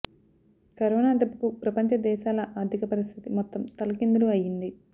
corona దెబ్బకు ప్రపంచ దేశాల ఆర్థిక పరిస్థితి మొత్తం తలకిందులు అయింది